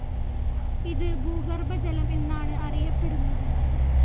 ഇത് ഭൂഗർഭജലം എന്നാണ് അറിയപ്പെടുന്നത്.